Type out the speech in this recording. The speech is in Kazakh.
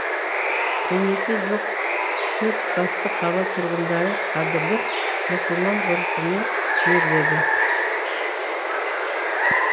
денесі жоқ төрт басты қала тұрғындары қадірлеп мұсылман ғұрпымен жерледі